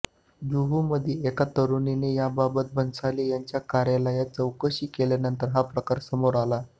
जुहूमधील एका तरुणीने याबाबत भन्साळी यांच्या कार्यालयात चौकशी केल्यानंतर हा प्रकार समोर आला